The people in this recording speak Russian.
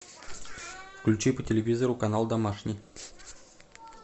включи по телевизору канал домашний